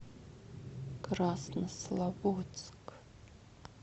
краснослободск